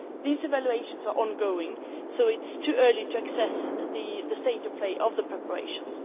These evaluations are ongoing, so it is too early to assess the state of play of the preparations.